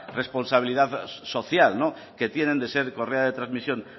responsabilidad social que tienen de ser correa de transmisión